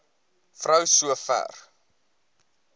vrou so ver